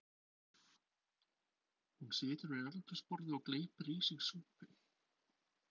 Hún situr við eldhúsborðið og gleypir í sig súpu.